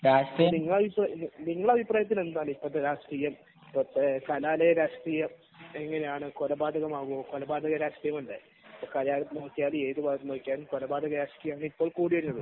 നിങ്ങളെ അഭിപ്രായത്തിൽ എങ്ങനെയാണ് ഇപ്പോഴത്തെ രാഷ്ട്രീയം കലാലയ രാഷ്ട്രീയം കൊലപാതകമാണോ കൊലപാത രാഷ്ട്രീയമല്ലേ കലാലയ എടുത്തു നോക്കിയാലും എവിടെ നോക്കിയാലും